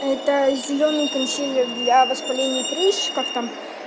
это зелёный консилер для воспаления и прыщиков там